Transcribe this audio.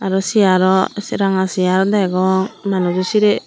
aro seeyaaro ranga seyaar degong manujo sireh.